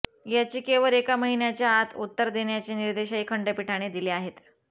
याचिकेवर एका महिन्याच्या आत उत्तर देण्याचे निर्देशही खंडपीठाने दिले आहेत